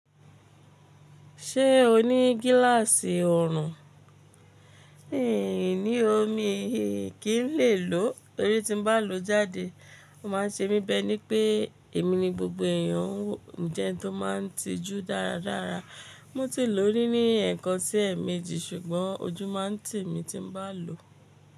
Ṣé o ní gíláàsì orùn? Ë ní o ní, kí n lè lò ó, tórí tí n bá lò ó jáde, ó máa ń ṣe mí bẹ́ ní pé èmi ni gbogbo èèyàn jẹ́ tó máa ń tijú dáradára. Mo ti lò ó ri ní ẹ̀ẹ̀kan sí ẹ̀ẹ̀méjì ṣùgbọ́n ojú máa ń tì mí tí n bá lò ó.